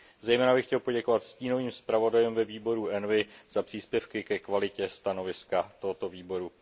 Zejména bych chtěl poděkovat stínovým zpravodajům ve výboru ENVI za příspěvky ke kvalitě stanoviska tohoto výboru.